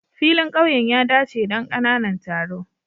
Filin ƙauyen ya dace don ƙananan taro.